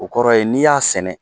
O kɔrɔ yen n'i y'a sɛnɛ